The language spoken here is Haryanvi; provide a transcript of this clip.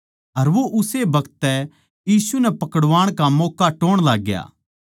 अर वो उस्से बखत तै यीशु नै पकड़वाण का मौक्का टोह्ण लाग्या